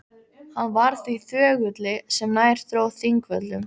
Hann varð því þögulli sem nær dró Þingvöllum.